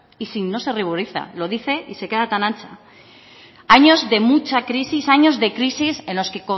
y no se ruboriza lo dice y se queda tan ancha años de mucha crisis años de crisis en los que